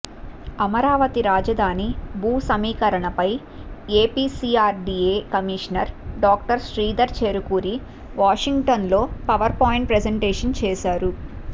అమరావతి రాజధాని భూ సమీకరణపై APCRDA commissioner doctor Sridhar Cherukuri వాషింగ్టన్లో పవర్ పాయింట్ ప్రజంటేషన్ చేశారు